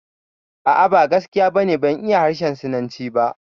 A'a, ba gaskiya ba ne, ban iya harshen Sinanci ba